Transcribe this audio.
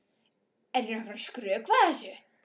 Er ég nokkuð að skrökva þessu?